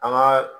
An ka